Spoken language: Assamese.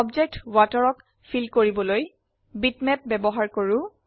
অবজেক্ট ওৱাটাৰক ফিল কৰিবলৈ বিটম্যাপ ব্যবহাৰ কৰো